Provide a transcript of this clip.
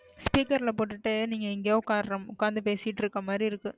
Speaker ல போட்டுட்டு நீங்க எங்கயோ உக்காருற உக்காந்து பேசிட்டு இருக்குற மாறி இருக்கு,